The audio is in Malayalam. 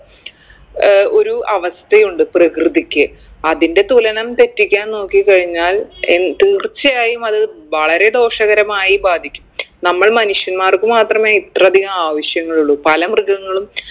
ഏർ ഒരു അവസ്ഥയുണ്ട് പ്രകൃതിക്ക് അതിൻറെ തുലനം തെറ്റിക്കാൻ നോക്കി കഴിഞ്ഞാൽ എൻ തീർച്ചയായും അത് വളരെ ദോഷകരമായി ബാധിക്കും നമ്മൾ മനുഷ്യന്മാർക്ക് മാത്രമേ ഇത്രയധികം ആവശ്യങ്ങളുള്ളൂ പല മൃഗങ്ങളും